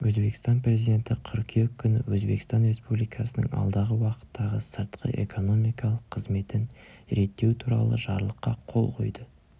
өзбекстан президенті қыркүйек күні өзбекстан республикасының алдағы уақыттағы сыртқы экономикалық қызметін реттеу туралы жарлыққа қол қойды